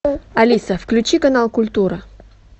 алиса включи канал культура